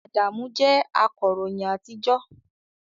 Adamu jẹ́ akọ̀ròyìn àtijọ́